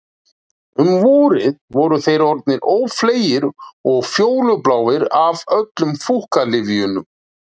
Um vorið voru þeir orðnir ófleygir og fjólubláir af öllum fúkkalyfjunum